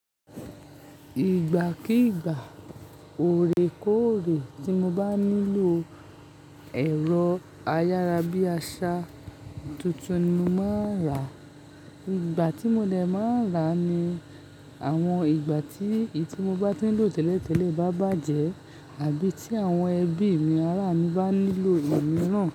Ìgbàkígbà, orekoore tí mo bá nílò ẹ̀rọ ayára bí àṣá tuntun ni mo maa rà. Ìgbà tí mo dè máa rà ní àwọn ìgbà tí ì tí mo bá tí ń lò tẹ́lẹ̀ tẹ́lẹ̀ bá bàjẹ́ àbí tí àwọn ẹbí mi ará mi bá nílò ìmiran.